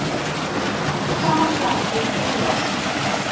Féll fram af kletti og lést